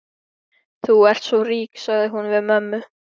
Þú ert svo rík, sagði hún við mömmu.